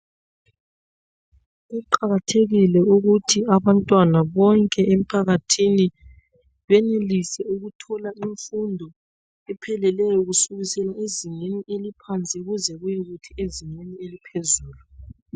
Kuqakathekile ukuthi abantwana bonke emphakathini benelise ukuthola imfundo epheleleyo kusukisela ezingeni eliphansi kuze kuyekuthi ezingeni eliphezulu.